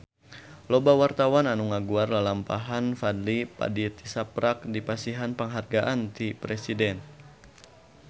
Loba wartawan anu ngaguar lalampahan Fadly Padi tisaprak dipasihan panghargaan ti Presiden